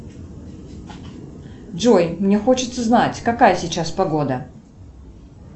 джой мне хочется знать какая сейчас погода